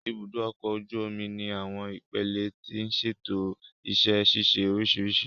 Ibùdó ọkọ̀ ojú omi ní àwọn ipele tí ń ṣètò iṣẹ́ ṣíṣe oríṣiríṣi